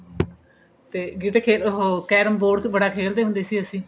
ਤੇ ਗਿਟੇ ਖੇਲਨੇ ਉਹ carrom board ਬੜਾ ਖੇਲਦੇ ਹੁੰਦੇ ਸੀ ਅਸੀਂ